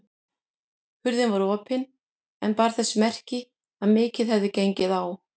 Hurðin var opin en bar þess merki að mikið hefði gengið á.